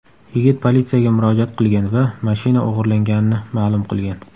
Yigit politsiyaga murojaat qilgan va mashina o‘g‘irlanganini ma’lum qilgan.